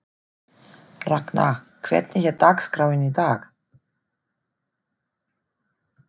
Ragna, hvernig er dagskráin í dag?